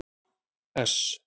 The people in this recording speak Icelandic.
S